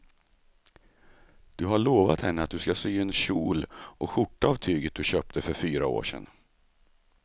Du har lovat henne att du ska sy en kjol och skjorta av tyget du köpte för fyra år sedan.